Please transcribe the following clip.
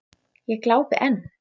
Ég glápi enn.